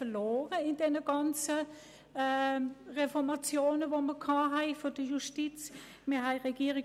Wir haben durch die ganzen Reformationen der Justiz 13 Stellen verloren.